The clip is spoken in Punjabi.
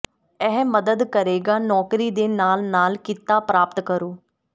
ਇਹ ਮਦਦ ਕਰੇਗਾ ਨੌਕਰੀ ਦੇ ਨਾਲ ਨਾਲ ਕੀਤਾ ਪ੍ਰਾਪਤ ਕਰੋ